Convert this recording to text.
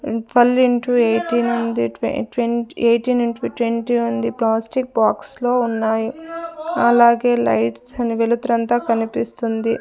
Twelve into eighteen ఉంది ట్వన్ ట్వన్ ఎయిటీన్ ఇంటు ట్వంటీ ఉంది ప్లాస్టిక్ బాక్స్ లో ఉన్నాయి అలాగే లైట్స్ వెలుతురంతా కనిపిస్తుంది.